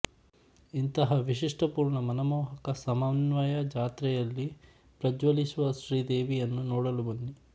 ಇಂತಹಾ ವಿಶಿಷ್ಠಪೂರ್ಣ ಮನಮೋಹಕ ಸಮನ್ವಯ ಜಾತ್ರೆಯಲ್ಲಿ ಪ್ರಜ್ವಲಿಸುವ ಶ್ರೀ ದೇವಿಯನ್ನು ನೋಡಲು ಬನ್ನಿ